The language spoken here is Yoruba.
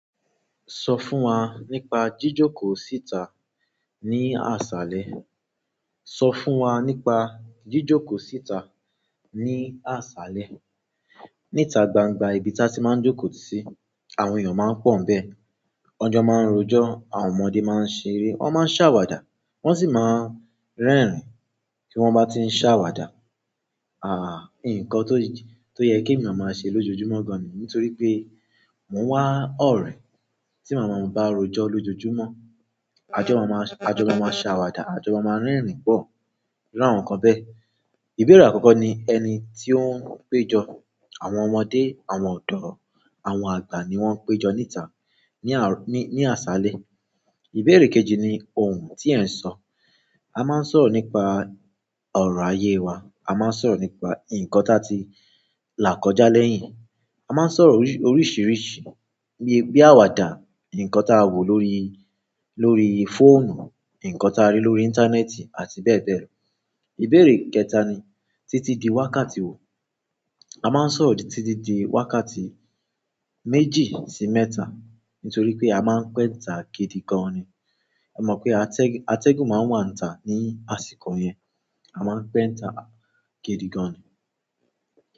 Sọ fún wa nípa jíjókòó síta ní àṣálẹ́. Sọ fún wa nípa jíjókòó síta ní àṣálẹ́. Níta gbangba ibi tí a ti máa ń jókòó sí, àwọn èèyàn máa ń pọ̀ ń bẹ, ọjọ́ máa ń rojọ́, àwọn ọmọdé máa ń ṣeré, wọ́n máa ń ṣàwàdà, wọ́n sì máa ń rẹ́rìn-ín tí wọ́n bá ti ń ṣàwàdà. Àh! Nǹkan tó yẹ kí eeyan máa ṣe lójoojúmọ́ gan ni, nítorí pé mò ń wá ọ̀rẹ́ tí màmá bá rojọ́ lójoojúmọ́. Àjọmá máa ń ṣàwàdà, àjọbá máa ń rẹ́rìn-ín pọ̀ làwọn kan bẹ́ẹ̀. Ìbéèrè àkọ́kọ́ ni ẹni tí ó ń péjọ. Àwọn ọmọdé, àwọn ọ̀dọ́, àwọn àgbà ni wọ́n ń péjọ níta ní àṣálẹ́. Iberee kejì ni oun ti e nso. A máa ń sọ̀rọ̀ nípa ọ̀rọ̀ ayé wa, a máa ń sọ̀rọ̀ nípa nǹkan táa ti là kọjá lẹ́yìn, a máa ń sọ̀rọ̀ oríṣìíríṣìí bí àwàdà, nǹkan táa wò lórí, lórí fóònù, nǹkan táa rí lórí íńtánẹ́ẹ̀tì àti bẹ́ẹ̀ bẹ́ẹ̀ lọ. Ìbéèrè kẹta ni títí di wákàtí wo. A máa ń sọ̀rọ̀ títí di wákàtí méjì sí mẹ́ta nítorí pé a máa ń pẹ́ nta gidi gan ni. A mọ̀ pé atẹ́gùn máa ń wà nta ní àsìkò yẹn. A máa ń pẹ́ nta gidi gan ni.